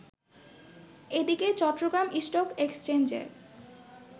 এদিকে চট্টগ্রাম স্টক এক্সচেঞ্জে